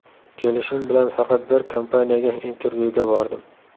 Kelishim bilan faqat bir kompaniyaga intervyuga bordim.